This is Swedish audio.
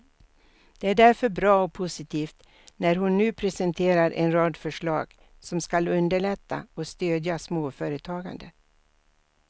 Det är därför bra och positivt när hon nu presenterar en rad förslag som skall underlätta och stödja småföretagandet.